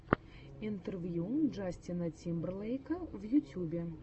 интервью джастина тимберлейка в ютьюбе